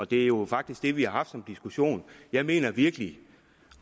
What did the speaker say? det er jo faktisk det vi har haft som diskussion jeg mener virkelig